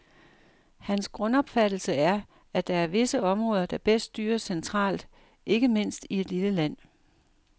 Hans grundopfattelse er, at der er visse områder der bedst styres centralt, ikke mindst i et lille land.